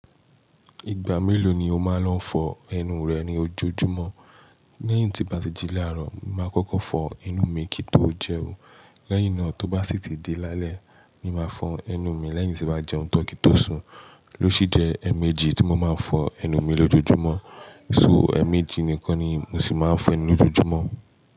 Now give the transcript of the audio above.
Ìgbà mélòó ni o máa ń lọ fọ ẹnu rẹ ní ojoojúmọ́? Lẹ́yìn tí bàti làárọ̀, mo máa kọ́kọ́ fọ ẹnu mi kí ó tó jẹun. Lẹ́yìn náà, tó bá sì tí di lálẹ́ ni màá fọ ẹnu mi lẹ́yìn tí bá jẹun tan kí n tó sùn. Lo sì jẹ́ ẹ̀ẹ̀mejì tí mo máa ń fọ ẹnu mi lójoojúmọ́. So ẹ̀ẹ̀mejì nìkan ni mo sì máa ń fọ ẹnu lójoojúmọ́.